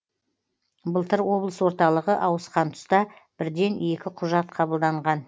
былтыр облыс орталығы ауысқан тұста бірден екі құжат қабылданған